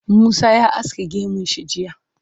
Musa ya aske gemun shi jiya.